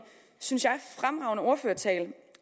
synes jeg fremragende ordførertale